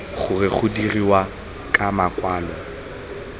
gore go dirwa ka makwalo